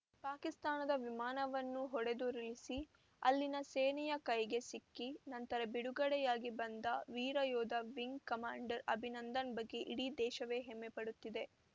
ಪಾಕಿಸ್ತಾನದ ವಿಮಾನವನ್ನು ಹೊಡೆದುರುಳಿಸಿ ಅಲ್ಲಿನ ಸೇನೆಯ ಕೈಗೆ ಸಿಕ್ಕಿ ನಂತರ ಬಿಡುಗಡೆಯಾಗಿ ಬಂದ ವೀರಯೋಧ ವಿಂಗ್‌ ಕಮಾಂಡರ್‌ ಅಭಿನಂದನ್‌ ಬಗ್ಗೆ ಇಡೀ ದೇಶವೇ ಹೆಮ್ಮೆಪಡುತ್ತಿದೆ